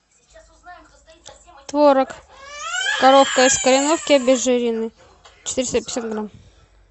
творог коровка из кореновки обезжиренный четыреста пятьдесят грамм